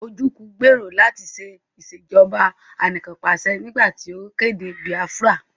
Ojúku gbèrò láti ṣe Ìṣèjọ́ba aníkanpàṣẹ nígbà tí ó kéde Biafra